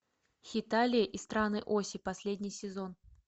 хеталия и страны оси последний сезон